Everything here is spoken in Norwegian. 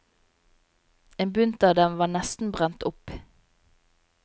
En bunt av dem var nesten brent opp.